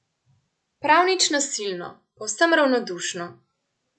Prav nič nasilno, povsem ravnodušno.